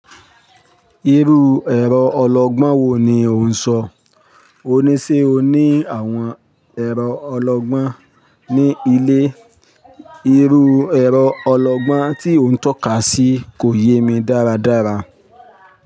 Irú ẹ̀rọ ọlọgbọ́n wo ni ò ń ṣọ? Ṣe oní àwọn ẹ̀rọ ọlọgbọ́n ní ilé? Irú ẹ̀rọ ọlọgbọ́n tí o ń tọ́ka sí kò yé mi dáradára.